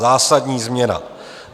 Zásadní změna.